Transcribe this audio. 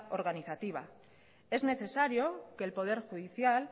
organizativa es necesario que el poder judicial